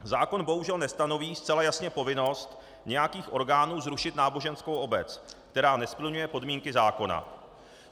Zákon bohužel nestanoví zcela jasně povinnost nějakých orgánů zrušit náboženskou obec, která nesplňuje podmínky zákona.